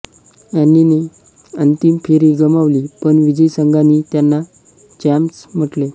अँनीने अंतिम फेरी गमावली पण विजयी संघांनी त्यांना चॅम्प्स म्हटले